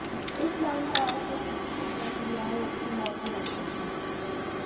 इस लाइन का अर्थ है कि जिसने जन्म लिया है उसकी मौत भी निश्चित है